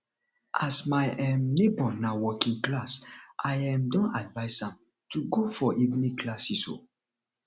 as my um nebor na working class i um don advice am to go for evening classes um